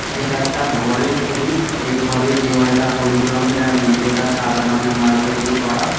এটা একটা ঘরের ছবি এই ঘরের দেওয়ালটা হলুদ রঙের আর মেঝেটা সাদা রঙের মার্বেল দেয়া করা--